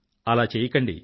అలా చెయ్యకండి